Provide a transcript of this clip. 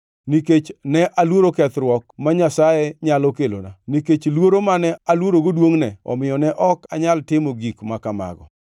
Nikech ne aluoro kethruok ma Nyasaye nyalo kelona nikech luoro mane aluorogo duongʼne, omiyo ne ok anyal timo gik ma kamago.